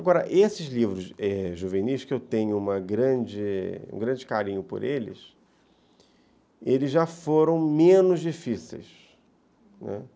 Agora, esses livros juvenis, que eu tenho uma grande um grande carinho por eles, eles já foram menos difíceis, né?